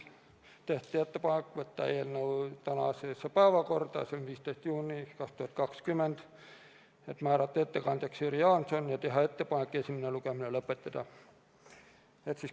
Tehti ettepanek võtta eelnõu tänasesse päevakorda, s.o 15. juuni 2020. aasta päevakorda, määrata ettekandjaks Jüri Jaanson ja teha ettepanek esimene lugemine lõpetada.